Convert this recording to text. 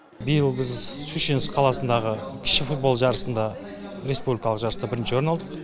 биыл біз шучинск қаласындағы кіші футбол жарысында республикалық жарыста бірінші орын алдық